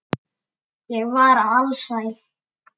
Ég var alsæl.